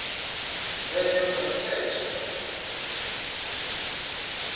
mvelelo dza u setsha hu